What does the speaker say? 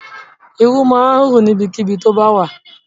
Irú máa rù níbikíbi tó bá wà.